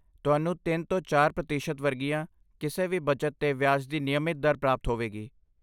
ਤੁਹਾਨੂੰ ਤਿੰਨ ਤੋਂ ਚਾਰ ਪ੍ਰਤੀਸ਼ਤ ਵਰਗੀਆਂ ਕਿਸੇ ਵੀ ਬਚਤ 'ਤੇ ਵਿਆਜ ਦੀ ਨਿਯਮਤ ਦਰ ਪ੍ਰਾਪਤ ਹੋਵੇਗੀ